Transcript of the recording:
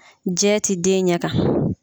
Jɛ ti den ɲɛ kan.